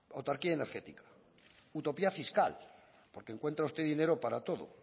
autarquía energética utopía fiscal porque encuentra usted dinero para todo